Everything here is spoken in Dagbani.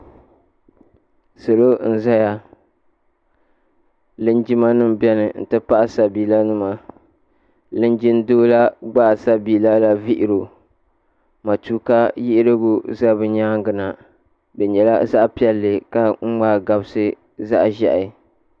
Salo n zaya linjima nima bɛni nti pahi sabiila nima linjima doo la gbaai sabiila doola vihiri o matuuka yiɣirigu za bi yɛanga na di yɛla zaɣi piɛlli ka mŋai gabisi zaɣi zɛhi.